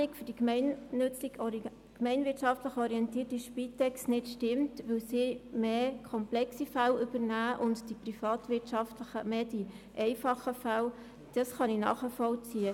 Dass die Rechnung für die gemeinwirtschaftlich orientierten Spitex-Organisationen nicht aufgeht, weil diese mehr komplexe Fälle übernehmen und die privatwirtschaftlichen Organisationen mehr einfache Fälle, kann ich nachvollziehen.